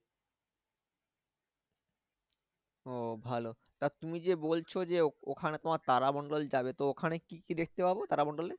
ও ভালো তা তুমি যে বলছো যে ওখানে তোমার তারামণ্ডল যাবে তো ওখানে কি কি দেখতে পাবো তারামণ্ডলে?